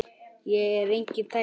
Ég er enginn tækni